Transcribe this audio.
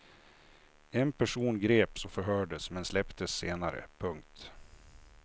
En person greps och förhördes men släpptes senare. punkt